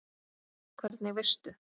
Hvernig veistu?